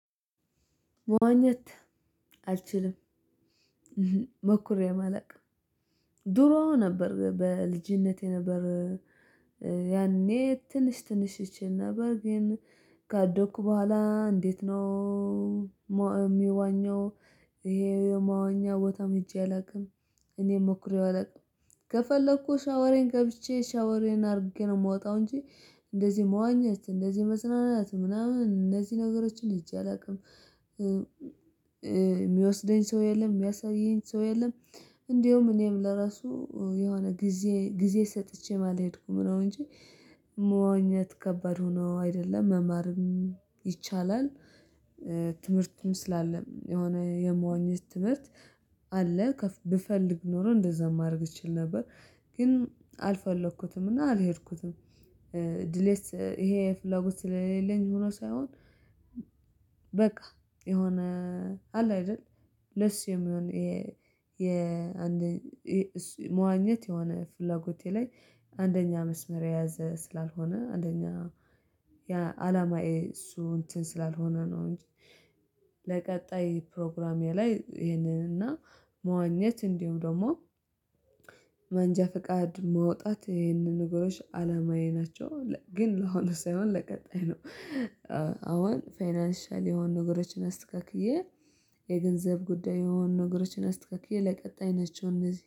መዋኘት አልችልም። ሞክሬ አላውቅም ድሮ ነበር በልጅነቴ ነበር። ያኔ ትንሽ ትንሽ እቺል ነበር ግን ካደኩ በኋላ እንዴት ነው የሚዋኘው? ይሄ የማዋኛ ቦታም ሄጄ አላውቅም እኔም ሞክሬው አላውቅም። ከፈለኩ ሻወሬን ገብቼ ሻወሬን አድርጌ ነው የምወጣው እንጂ እንደዚህ መዋኛት እንደዚህ መዝናናት ምናምን እነዚህ ነገሮችን ሂጄ አላውቅም የሚወስደኝ ሰው የለም የሚያሳየኝ ሰው የለም። እንደውም እኔም ለራሱ የሆነ ጊዜ ጊዜ ሰጥቼ ማለት ሄድኩ ምነው እንጂ መዋኘት ከባድ ሆኖ አይደለም መማርም ይቻላል። ትምህርትም ስላለም የሆነ የመዋኘት ትምህርት አለ። ብፈልግ ኖሮ እንደዛ ማድረግ እችል ነበር ግን አልፈለኩትም እና አልሄድኩትም። ድሌት ይሄ ፍላጎት ስለሌለኝ ሆኖ ሳይሆን በቃ የሆነ አለ አይደል ለሱ የሚሆን የአንድ መዋኘት የሆነ ፍላጎቴ ላይ አንደኛ መስመር የያዘ ስላልሆነ አንደኛ አላማዬ እሱ እንትን ስላልሆነ ነው። እንጂ ለቀጣይ ፕሮግራሜ ላይ ይሄንን እና መዋኘት እንዲሁ ደግሞ መንጃ ፍቃድ ማውጣት ይሄንን ነገሮች አላማዬ ናቸው ግን ለሆነ ሳይሆን ለቀጣይ ነው። አሁን ፋይናንሻል የሆኑ ነገሮችን አስተካክዬ የገንዘብ ጉዳይ የሆኑ ነገሮችን አስተካክዬ ለቀጣይ ናቸው እነዚህ